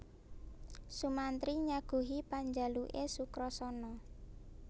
Sumantri nyaguhi panjaluke Sukrasana